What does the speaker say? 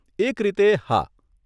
એક રીતે, હા.